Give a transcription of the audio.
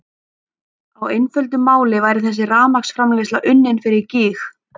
Á einföldu máli væri þessi rafmagnsframleiðsla unnin fyrir gýg!